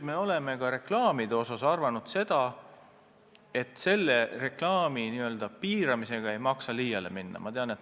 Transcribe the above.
Me oleme ka reklaamide kohta arvanud, et selle reklaami piiramisega ei maksa liiale minna.